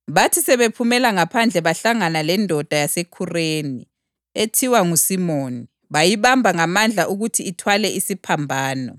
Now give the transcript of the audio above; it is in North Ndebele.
Bathi sebephumela ngaphandle bahlangana lendoda yaseKhureni, ethiwa nguSimoni, bayibamba ngamandla ukuthi ithwale isiphambano.